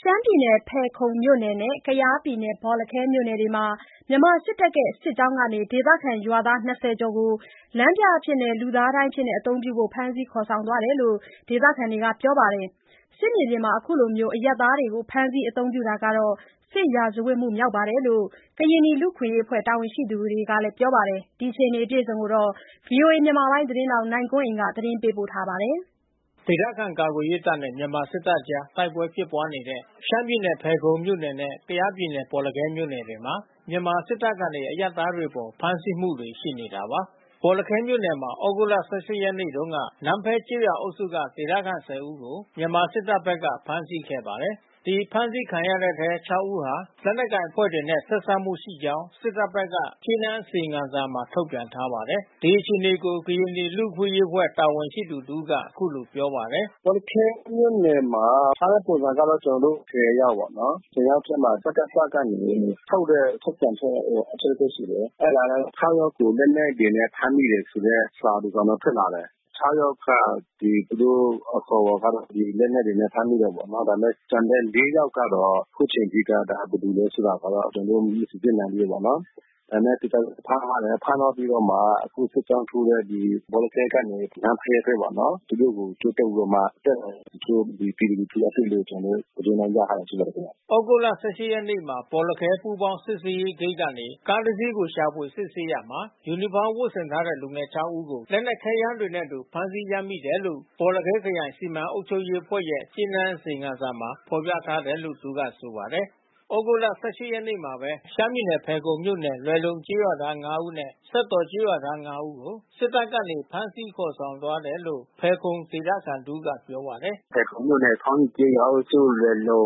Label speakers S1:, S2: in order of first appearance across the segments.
S1: ရှမ်းပြည်နယ် ဖယ်ခုံမြို့နယ်နဲ့ကယားပြည်နယ် ဘော်လခဲမြို့နယ်တွေမှာ မြန်မာစစ်တပ်ရဲ့စစ်ကြောင်းကနေ ဒေသခံ ရွာသား(၂၀)ကျော်ကို လမ်းပြအဖြစ်နဲ့လူသားဒိုင်အဖြစ်အသုံးပြုဖို့ဖမ်းဆီးခေါ်ဆောင်ခဲ့ တယ်လို့ဒေသခံ တွေက ပြောပါတယ်။ စစ်မြေပြင်မှာအခုလိုအရပ်သားတွေကိုဖမ်းဆီးအသုံးပြုနေတာဟာ စစ်ရာဇဝတ်မှုမြောက်တယ် လို့ ကရင် နီလူ့အခွင့်ရေးအဖွဲ့တာဝန်ရှိသူတွေကပြောပါတယ်။ ဒီအခြေအနေကိုဗွီအိုအေသတင်းထောက် နိုင်ကွန်းအိန်ကနေ သတင်းပေးပို့ထားပါတယ်။
S2: ဒေသခံကာကွယ်ရေးတပ်နဲ့ မြန်မာစစ်တပ်တို့အကြား တိုက်ပွဲဖြစ်ပွါးနေတဲ့ ရှမ်းပြည်နယ် ဖယ်ခုံမြို့နယ် နဲ့ ကယား ပြည်နယ်ဘော်လခဲမြို့နယ်တွေမှာ မြန်မာစစ်တပ်ကနေ အရပ်သားတွေအပေါ်ဖမ်းဆီးမှုတွေရှိနေတာပါ။ေ ဘာ်လခဲမြို့နယ်မှာ သြဂုတ်လ(၁၈)ရက်နေ့တုန်းက နန်းဖဲကျေးရွာအုပ်စုမှ ဒေသခံ(၁၀)ဦးကို မြန်မာစစ်တပ်ဘက် ကဖမ်းဆီးခဲ့ပါတယ်။ ဒီဖမ်ဆီးခံရတဲ့အထဲ(၆)ဦးဟာ လက်နက်ကိုင်အဖွဲ့တွေနဲ့ဆက်စပ်မှုရှိကြောင်းစစ်တပ်ဘက်က ကြေးနန်းအစီရင်ခံစာမှာထုတ်ပြန်ထားပါတယ်။ ဒီအခြေအနေကို ကရင်နီလူ့အခွင့်အရေးအဖွဲ့တာဝန်ရှိသူ တဦးက အခုလိုပြောပါတယ်။
S1: “ ဘော်လခဲမြို့နယ်မှာ အဖမ်းဆီးခံရတာကတော့ကျွန်တော်တို့(၁၀)ယောက်ပေါ့နော်။ (၁၀)ယောက်ထဲမှာ စကစ ကနေ ထုတ်တဲ့ထုတ်ပြန်ချက်အချုပ်ရှိတယ်။ အဲတာလဲ(၆)ယောက်ကိုလက်နက်တွေနဲ့ ဖမ်းမိတယ်ဆိုတဲ့ စာတစောင် တော့ထွက်လာတယ်။ (၆)ယောက်က သူတို့အခေါ်အဝေါ်ကတော့ လက်နက်တွေနဲ့ဖမ်းမိတယ်ပေါ့နော်။ ဒါပေမဲ့ ကျန် တဲ့(၄)ယောက်ကတော့ အခုချိန်ထိတော့ဒါဘယ်သူလဲဆိုတာကတော့ ကျွန်တော်တို့မစီစစ်နိုင်သေးဘူးပေါ့နော်။ ဒါပေမဲ့ သူတို့ဖမ်းထားတယ် ဖမ်းထားပြီးတော့မှ အခုစစ်ကြောင်းထိုးတဲ့ဘော်လခဲကနေ နန်းဖဲဘက်ပေါ့နော်။ သူတို့ကိုကြိုးတုတ် ပြီးတော့မှ တက်လာတယ်။ တချို့ပြည်သူလူထုကအသိပေး ကျွန်တော်တို့သတင်းတော့ရထားတာရှိတယ်။
S2: ” သြဂုတ်လ(၁၈)ရက်မှာ ဘော်လခဲပူးပေါင်းစစ်ဆေးရေးဂိတ်ကနေ ကားတစီးကိုရှာဖွေစစ်ဆေးရာမှာ ယူနီဖောင်း ဝတ်ဆင်ထားတဲ့လူငယ်(၆)ဦးကို လက်နက်ခဲယမ်းတွေနဲ့အတူဖမ်းဆီးရမိတယ်လို့ ဘော်လခဲခရိုင်စီမံအုပ်ချုပ်ရေး အဖွဲ့ရဲ့ကြေးနန်းအစီရင်ခံစာမှာဖော်ပြထားတယ်လို့ သူကဆိုပါတယ်။ သြဂုတ် ၁၈ ရက်နေ့မှာဘဲ ရှမ်းပြည်နယ်ဖယ်ခုံမြို့နယ် လွယ်လုံကျေးရွာသား(၅)နဲ့ စက်တော်ကျေးရွာသား (၅)ဦးကို စစ်တပ်ကနေဖမ်းဆီးခေါ်ဆောင်သွားတယ်လို့ဖယ်ခုံဒေသခံတဦးကပြောပါတယ်။ “
S1: ဖယ်ခုံမြို့နယ် ခေါင်းအိကျေးရွာအုပ်စု လွယ်လုံ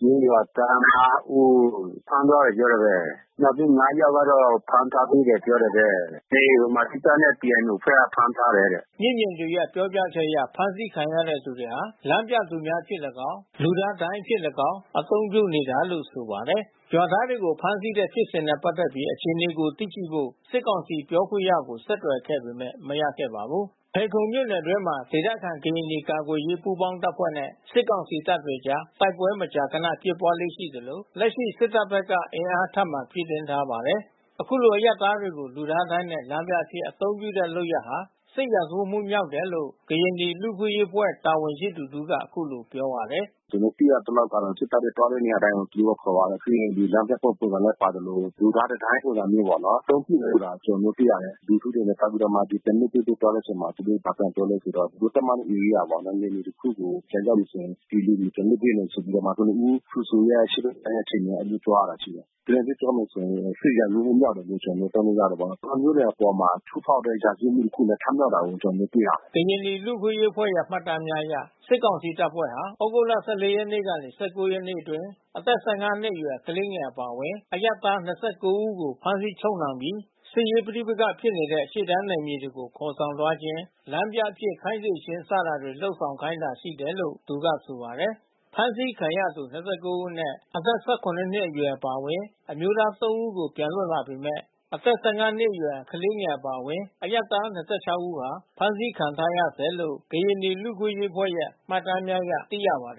S1: ကျေးရွာသား(၅)ဦး ဖမ်းသွားတယ်ပြောတာဘဲ။ နောက်ပြီး(၅)ယောက် ကတော့ဖမ်းထားတယ်ပြောတာဘဲ ။ အေး ဗမာစစ်တပ်နဲ့ PNOအဖွဲ့ကဖမ်းထားတယ်တဲ့။ ” မျက်မြင်တွေ
S2: ရဲ့ပြောပြချက်အရအဖမ်းဆီးခံရတဲ့သူတွေဟာ လမ်းပြသူများအဖြစ် လည်းကောင်း လူသားဒိုင်အဖြစ် လည်းကောင်း အသုံးပြုနေတာလို့ဆိုပါတယ်။ ရွာသားတွေကိုဖမ်းဆီးတဲ့ဖြစ်စဉ်နဲ့ပက်သက်ပြီးအခြေအနေကိုသိရှိဖို့ စစ်ကောင်စီပြောခွင့်ရကို ဆက်သွယ်ခဲ့ပေမဲ့ မရခဲ့ပါဘူး။ ဖယ်လုံမြို့နယ်အတွင်းမှာ ဒေသခံကရင်နီကာကွယ်ရေးပူးပေါင်းတပ်ဖွဲ့နဲ့ စစ်ကောင်စီတပ်တွေအကြား တိုက်ပွဲမကြာခနဖြစ်ပွါးလေ့ရှိသလို လက်ရှိ စစ်တပ်ဘက်ကအင်အားထပ်မံဖြည့်တင်းထားပါတယ်။ အခုလိုအရပ်သားတွေကို လူသားဒိုင်းနဲ့ လမ်းပြအဖြစ်အသုံးပြုတဲ့လုပ်ရပ်ဟာ စစ်ရာဇဝတ်မှုမြောက်တယ်လို့ ကရင်နီ လူ့အခွင့်အရေးအဖွဲ့တာဝန်ရှိသူတဦးက အခုလိုပြောပါတယ်။
S1: “ကျွန်တော်တို့သိရသလောက်ကတော့ စစ်တပ်ကသွားတဲ့နေရာတိုင်းကိုသူတို့ကခေါ်သွားတယ်။ ပြီးရင်လမ်းပြတဲ့ ပုံစံနဲ့ ပါသလို လူသားတံတိုင်းပုံစံမျိုးပေါ့နော်။ အသုံးပြုနေတာကျွန်တော်တို့သိရတယ်။လူထုတွေကသွားပြီးတော့မှ ပြန်လွှတ်ပေးဖို့ပြောတဲ့အချိန်မှာ သူတို့ဘာပြန်ပြောလဲဆိုတော့ သူတို့သတ်မှတ်တဲ့ဧရိယာ ပေါ့နယ်မြေတခုကို ပြန် ရောက် မယ်ဆိုရင် ဒီလူတွေကိုပြန်လွှတ်ပေးမယ်ဆိုပြီးတော့မှ ကနဦး ဖရူဆိုရဲ့အရှေ့ဘက်ခြမ်းမှာ သူတို့ပြောသွား တာရှိတယ်။ ကျွန်တော်တို့ပြောမယ်ဆိုရင် စစ်ရာဇဝတ်မှုမြောက်တယ်လို့ကျွန်တော်တို့ပြောလို့ရတယ်ပေါ့။ လူသား မျိုးနွယ်အပေါ်မှာချိုးဖောက်တဲ့ ရာဇဝတ်မှုတခုလဲထမြောက်တာကိုကျွန်တော်တို့တွေ့ရတယ်။”
S2: ကရင်နီ လူ့အခွင့်အရေးအဖွဲ့ရဲ့မှတ်တမ်းများအရ စစ်ကောင်စီတပ်ဖွဲ့ဟာ သြဂုတ်(၁၄)ရက်ကနေ (၁၉)ရက်အတွင်း အသက် ၁၅ နှစ်အရွယ် ကလေးငယ်အပါအဝင် အရပ်သား ၂၉ ဦးကို ဖမ်းဆီးချုပ်နှောင်ဲပီး စစ်ရေးပဋိပက္ခဖြစ်နေတဲ့ ရှေ့တန်းနယ်မြေတွေကို ခေါ်ဆောင်သွားခြင်း၊ လမ်းပြအဖြစ် ခိုင်းစေခြင်းစတာတွေ လုပ်ဆောင်ခိုင်းတာရှိတယ်လို့ သူကဆိုပါတယ်။ ဖမ်းဆီးခံရတဲ့သူ (၂၉) ဦးအနက် အသက်(၁၇)နှစ်အရွယ်အပါအဝင် အမျိုးသား ၃ ဦး ပြန်လွတ်လာပေမဲ့ အသက် ၁၅ နှစ်အရွယ် ကလေးငယ် အပါအဝင် အရပ်သား ၂၆ ဦးဟာ ဖမ်းဆီးခံထားရဆဲလို့ ကရင်နီ လူ့အခွင့်အရေးအဖွဲ့ရဲ့ မှတ်တမ်းများအရသိရပါတယ်